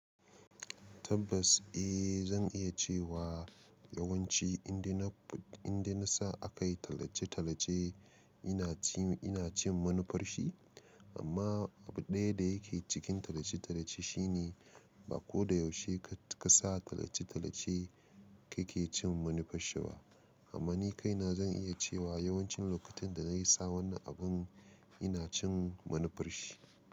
Tabbas, eh zan iya cewa yawanci inda na, inda na sa a kai tallace-tallace ina cin, ina cin manufar shi. Amma abu ɗaya da yake cikin tallace-tallace shine ba ko da yaushe ka, ka sa tallace-tallace kake cin manufar shi ba. Amma ni kaina zan iya cewa yawancin lokutan da na yi sa wannan abun ina cin manufar shi.